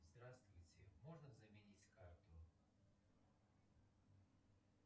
здравствуйте можно заменить карту